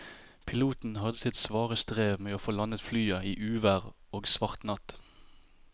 Piloten hadde sitt svare strev med å få landet flyet i uvær og svart natt.